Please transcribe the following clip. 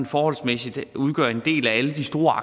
forholdsmæssigt udgør en del af alle de store